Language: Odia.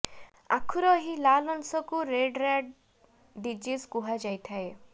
ଆଖୁର ଏହି ଲାଲ ଅଂଶକୁ ରେଡ ରାଟ ଡିଜିଜ କୁହାଯାଇଥାଏ